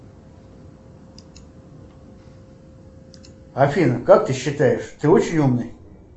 афина как ты считаешь ты очень умный